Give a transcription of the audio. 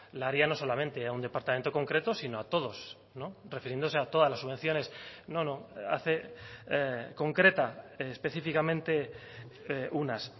la haría no solamente a un departamento concreto sino a todos refiriéndose a todas las subvenciones no no hace concreta específicamente unas